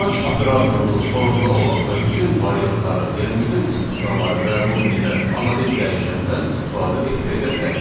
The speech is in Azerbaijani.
match operatorunun sonunda olan və bütün variantları, yəni bütün istisnaları qəbul edən anonim dəyişəndən istifadə etməyə də bilərik.